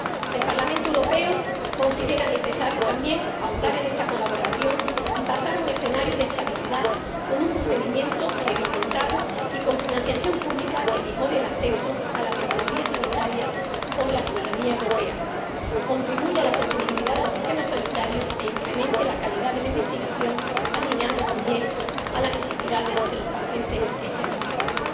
El Parlamento Europeo considera necesario también ahondar en esta colaboración y pasar a un escenario de estabilidad, con un procedimiento reglamentado y con financiación pública que mejore el acceso a la tecnología sanitaria por la ciudadanía europea, contribuya a la sostenibilidad de los sistemas sanitarios e incremente la calidad de la investigación, alineando también con las necesidades los pacientes esta investigación.